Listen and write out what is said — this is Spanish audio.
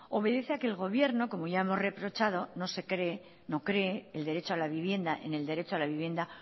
obedece a que el gobierno como ya hemos reprochado no cree en el derecho a la vivienda